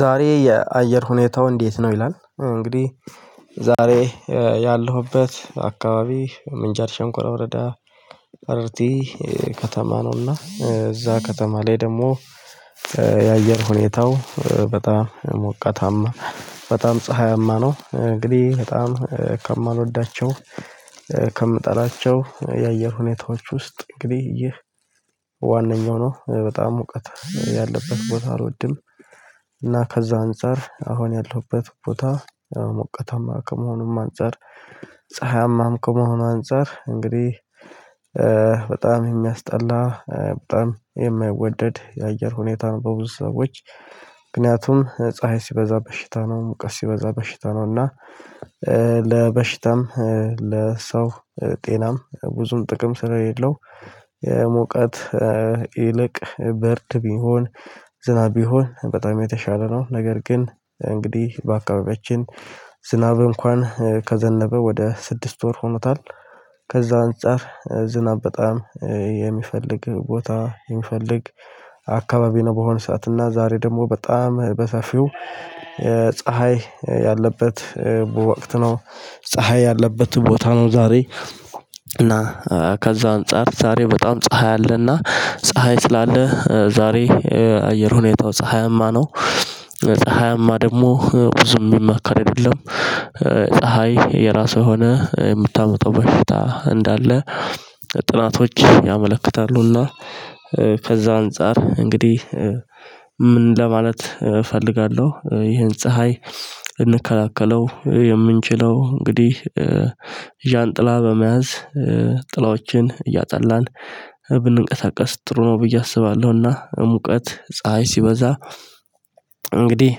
ዛሬ የአየር ሁኔታው እንዴት ነው? ይላል እንግዲህ ዛሬ ያለሁበት አካባቢ ምንጃር ሸንኮረ ወረዳ ጠረርቲ ከተማ ነውና እዛ ከተማ ላይ ደግሞ የአየር ሁኔታው በጣም ሞቃታማ በጣም ፀሀያማ ነው። እንግዲህ በጣም ከማልወዳቸው ከምጠላቸው የአየር ሁኔታዎች ውስጥ እንግዲህ ዋነኛው ነው በጣም ሙቀት ያለበት ቦታ አልወድም። እና ከዛ አንፃር አሁን ያለሁበት ቦታ ሞቃታማ ከመሆኑም አንፃር ፀሀያማም ከመሆኑ አንፃር እንግዲህ በጣም የሚያስጠላ በጣም የማይወደድ የአየር ሁኔታ ነው። በብዙ ሰዎች ምክንያቱም ፀሀይ ሲበዛ በሽታ ነው ሙቀስ ሲበዛ በሽታ ነው። እና ለበሽታም ለሰው ጤናም ብዙም ጥቅም ስለሌለው። ሞቃት ይልቅ ብርድ ቢሆን ዝናብ ቢሆን በጣም የተሻለ ነው። ነገር ግን እንግዲህ በአካባቢያችን ዝናብ እንኳን ከዘነበ ወደ ስድስት ወር ሆኖታል። ከዛ አንፃር ዝናብ በጣም የሚፍልግ ቦታ የሚፈልግ አካባቢ ነው። በሆነ ሰዓት እና ዛሬ ደግሞ በጣም በሰፊው ፀሀይ ያለበት በወቅት ነው። ፀሀይ ያለበት ቦታ ነው። ዛሬ እና ከዛ አንፃር ዛሬ በጣም ፀሀይ አለና ፀሀይ ስላለ ዛሬ አየር ሁኔታው ፀሀያማ ነው። ፀሀይማ ደግሞ ብዙም የሚመከር አይደለም። ፀሀይ የራሱ የሆነ የምታመጣው በፊት እንዳለ ጥናቶች ያመለክታሉና። ከዛ አንፃር እንግዲህ ምን ለማለት እፈልጋለሁ ይሄን ፀሀይ ልንከላከለወ የምንችለው እንግዲህ ዣንጥላ በመያዝ ጥላዎችን እያጠላን ብንቀሳቀስ ጥሩ ነው። ብዬ አስባለሁና ሙቀት ፀሀይ ሲበዛ እንግዲህ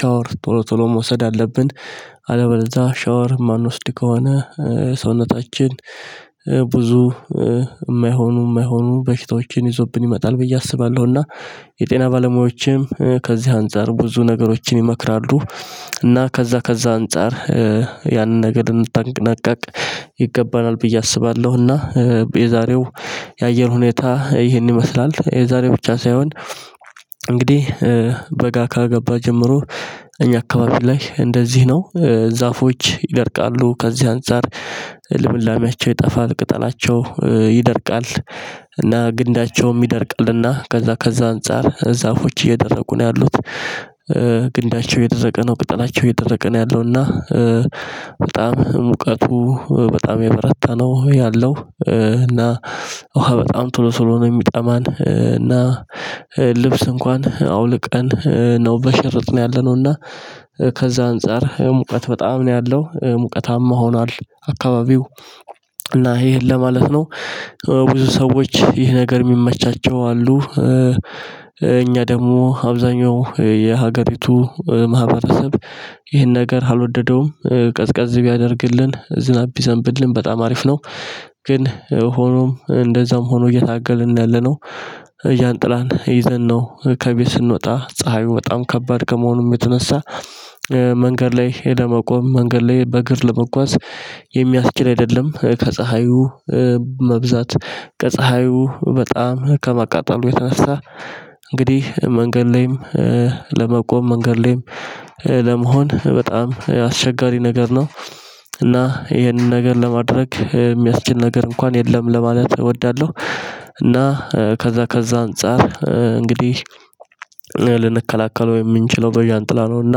ሻወር ቶሎ ቶሎ መውሰድ አለብን አልበለዛ ሻወር የማንወስድ ከሆነ ሰውነታችን ብዙ ማይሆኑ ማይሆኑ በሽታዎችን ይዞብን ይመጣል። ብዬ አስባለሁና የጤና ባለሙያዎችም ከዚህ አንፃር ብዙ ነገሮችን ይመክራሉ። እና ከዛ ከዛ አንፃር ያንን ነገር ልንጠነቀቅ ይገባናል ብዬ አስባለሁ። እና የዛሬው የአየር ሁኔታ ይሄን ይመስላል። የዛሬው ብቻ ሳይሆን እንግዲህ በጋ ከገባ ጀምሮ እኛ አካባቢ ላይ እንደዚህ ነው። ዛፎች ይደርቃሉ ከዚህ አንፃር ልምላሜያቸው ይጠፋል ቅጠላቸው ይደርቃል እና ግንዳቸውም ይደርቃልና ከዛ ከዛ አንፃር ዛፎች እየደረቁ ነው ያሉት። ግንዳቸው እየደረቀ ነው ቅጠላቸው እየደረቀ ነው ያለውና። በጣም ሙቀቱ በጣም የበረታ ነው ያለው። እና ውሃ በጣም ቶሎ ቶሎ ነው የሚጠማን። እና ልብስ እንኳን አውልቀን ነው በሽርጥ ነው ያለነው። እና ከዛ አንፃር ሙቀት በጣም ነው ያለው ሙቀታማ ሆኗል አካባቢው እና ይሄን ለማለት ነው። ብዙ ሰዎች ይህ ነገር ሚመቻቸው አሉ። እኛ ደግሞ አብዛሀኛው የሀገሪቱ ማህበረሰብ ይህን ነገር አልወደደውም። ቀዝቀዝ ቢያደርግልን ዝናብ ቢዘንብልን በጣም አሪፍ ነው። ግን ሆኖም እንደዛም ሆኖ እየታገልን ነው ያለነው። ዣንጥላን ይዘን ነው ከቤት ስንወጣ ፀሀዩ በጣም ከባድ ከመሆኑም የተነሳ መንገድ ላይ ሄደ መቆም መንገድ ላይ በእግር ለመጓዝ የሚያስችል አይደለም። ከፀሀዩ መብዛት ከፀሀዩ በጣም ከማቃጠሉ የተነሳ እንግዲህ መንገድ ላይም ለመቆም መንገድ ላይም ለመሆን በጣም አስቸጋሪ ነገር ነው። እና ይሄንን ነገር ለማድረግ የሚያስችል ነገር እንኳን የለም ለማለት እወዳለሁ። እና ከዛ ከዛ አንፃር እንግዲህ ልንከላከለው የምንችለው በዣንጥላ ነው። እና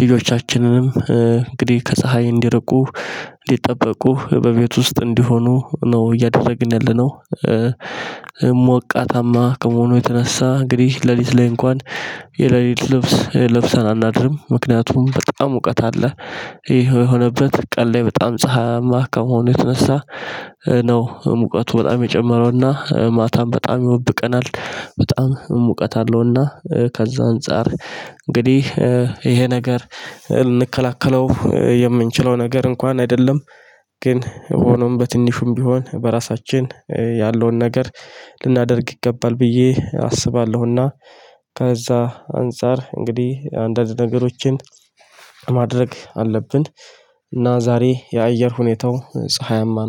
ልጆቻችንንም እንግዲህ ከፀሀይ እንዲርቁ እንዲጠበቁ በቤት ውስጥ እንዲሆኑ ነው እያደረግን ያለነው። ሞቃታማ ከመሆኑ የተነሳ እንግዲህ ሌሊት ላይ እንኳን የሌሊት ልብስ ለብሰን አናድርም። ምክንያቱም በጣም ሙቀት አለ። ይሄ የሆነበት ቀን ላይ በጣም ፀሀይማ ከመሆኑየተነሳ ነው ሙቀቱ በጣም የጨመረውና ማታም በጣም ይወብቀናል። በጣም ሙቀት አለውና ከዛ አንፃር እንግዲህ ይሄ ነገር ልንከላከለው የምንችለው ነገር እንኳን አይደለም። ግን ሆኖም በትንሹም ቢሆን በራሳችን ያለውን ነገር ልናደርግ ይገባል ብዬ አስባለሁና። ከዛ አንፃር እንግዲህ አንዳንድ ነገሮችን ማድረግ አለብን። እና ዛሬ የአየር ሁኔታው ፀሀያማ